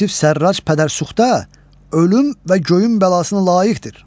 Yusif Sərraç pədərsuxda ölüm və göyün bəlasına layiqdir.